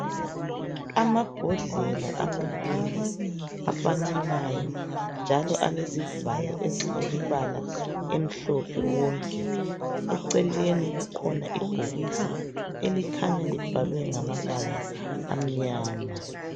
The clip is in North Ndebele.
Amabhodlela amabili afananayo njalo alezivalo ezilemibala emhlophe wonke eceleni kukhona ibhokisi elikhanya libhalwe ngamabala amnyama.